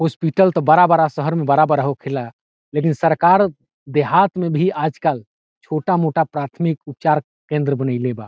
Hospital तो बड़ा-बड़ा शहर में बड़ा-बड़ा होखे ला लेकिन सरकार देहात में भी आजकाल छोटा-मोटा प्राथमिक उपचार केंद्र बनेले बा।